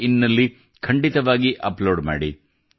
in ನಲ್ಲಿ ಖಂಡಿತವಾಗಿ upload ಮಾಡಿ